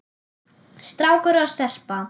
Strákur og stelpa.